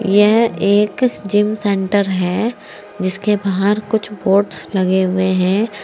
यह एक gym centre है जिसके बाहर कुछ बोर्ड्स लगे हुए हैं।